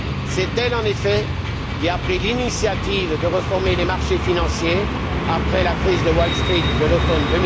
C'est elle, en effet, qui a pris l'initiative de réformer les marchés financiers après la crise de Wall Street de l'automne